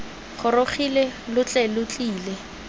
gorogile lo tle lo tlile